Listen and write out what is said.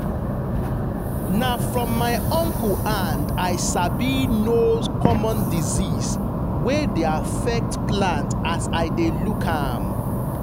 na from my uncle hand i sabi know common disease wey dey affect plant as i dey look am.